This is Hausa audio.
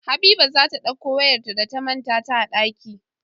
Habiba zata ɗakko wayar ta da ta manta a ɗaki